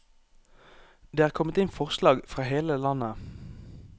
Det er kommet inn forslag fra hele landet.